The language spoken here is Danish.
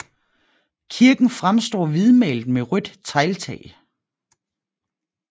Kirken fremstår hvidtmalet med rødt tegltag